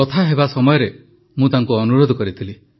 କଥା ହେବା ସମୟରେ ମୁଁ ତାଙ୍କୁ ଅନୁରୋଧ କରିଥିଲି